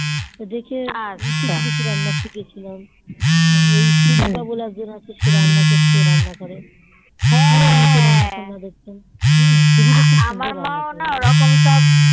দেখে কিছু কিছু রান্না শিখেছিলাম হুম ওই সুদিপা বলে একজন আছে সে রান্না করতো রান্নাঘরে